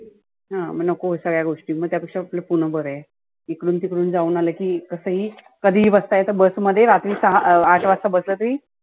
हं मग नको सगळ्या गोष्टी मग त्या पेक्षा आपलं पुण बरं आहे. इकडुन तिकडुन जाऊन आलं की कसं ही कधी ही बसता येतं bus मध्ये रात्री सहा अं आठ वाजता बस राहती.